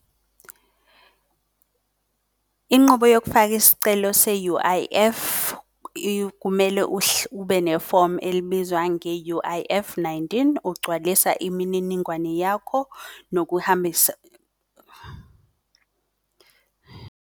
Inqubo yokufaka isicelo se-U_I_F kumele ube nefomu elibizwa nge-U_I_F-nineteen. Ugcwalisa imininingwane yakho .